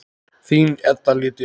Þín Edda Lydía.